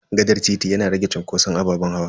Gaɗar titi yana rage cunkoson ababen hawa.